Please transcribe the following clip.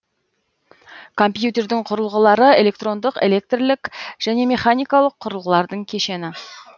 компьютердің құрылғылары электрондық электрлік және механикалық құрылғылардың кешені